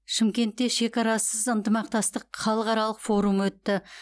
шымкентте шекарасыз ынтымақтастық халықаралық форумы өтті